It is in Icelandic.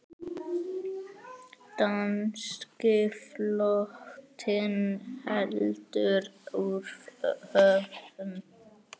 Danski flotinn heldur úr höfn!